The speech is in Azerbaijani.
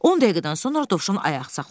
10 dəqiqədən sonra Dovşan ayaq saxladı.